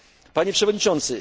Pani przewodnicząca!